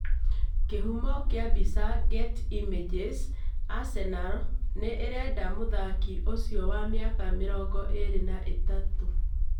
Kĩhumio kĩa mbica, Getty Images. Arsenal nĩĩrenda mũthaki ũcio wa mĩaka mĩrongo ĩĩrĩ na ithatũ